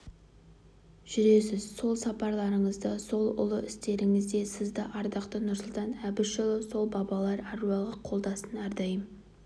жүресіз сол сапарларыңызда сол ұлы істеріңізде сізді ардақты нұрсұлтан әбішұлы сол бабалар әруағы қолдасын әрдайым